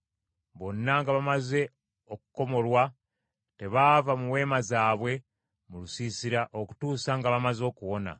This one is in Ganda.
Bonna nga bamaze okukomolwa tebaava mu weema zaabwe mu lusiisira, okutuusa nga bamaze okuwona.